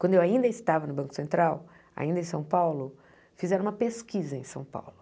Quando eu ainda estava no Banco Central, ainda em São Paulo, fizeram uma pesquisa em São Paulo.